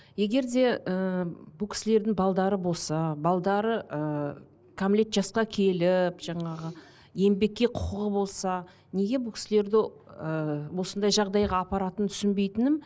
егер де ыыы бұл кісілердің болса ыыы кәмілет жасқа келіп жаңағы еңбекке құқығы болса неге бұл кісілерді ыыы осындай жағдайға апаратынын түсінбейтінім